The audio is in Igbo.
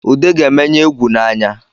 Ude ga-emenye egwu n’anya